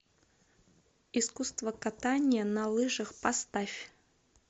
искусство катания на лыжах поставь